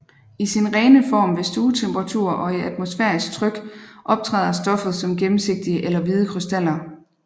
I sin rene form ved stuetemperatur og i atmosfærisk tryk optræder stoffet som gennemsigtige eller hvide krystaller